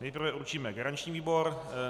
Nejprve určíme garanční výbor.